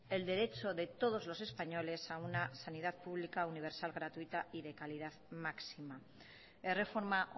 el derecho de todos los españoles a una sanidad pública universal gratuita y de calidad máxima erreforma